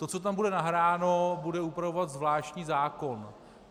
To, co tam bude nahráno, bude upravovat zvláštní zákon.